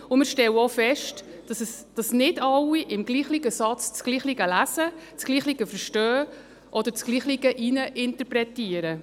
Wir stellen auch fest, dass nicht alle im selben Satz dasselbe lesen, verstehen oder hineininterpretieren.